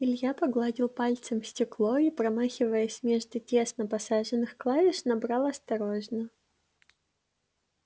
илья погладил пальцем стекло и промахиваясь между тесно посаженных клавиш набрал осторожно